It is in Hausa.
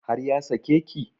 Har ya sake ki?